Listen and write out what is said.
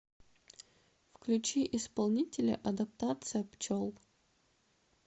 включи исполнителя адаптация пчел